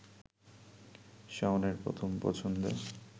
শাওনের প্রথম পছন্দে